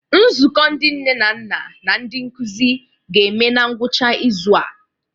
Nzukọ ndị nne na nna na ndi nkuzi ga-eme na ngwụcha izu a.